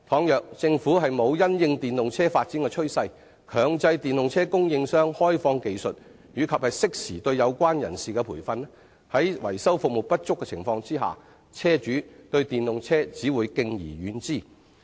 如果政府沒有因應電動車發展的趨勢，強制電動車供應商開放技術及適時對有關人士提供培訓，在維修服務不足的情況下，車主對電動車只會敬而遠之。